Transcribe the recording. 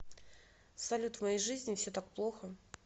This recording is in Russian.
салют в моей жизни все так плохо